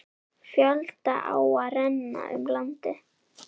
Fjölda áa renna um landið.